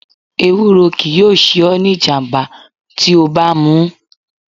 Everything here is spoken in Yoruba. Ewúro kii yoo se o ni ijamba ti o ba mu